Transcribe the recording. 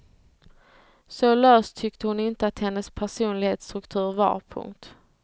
Så lös tyckte hon inte att hennes personlighetsstruktur var. punkt